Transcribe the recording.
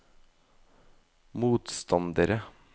motstandere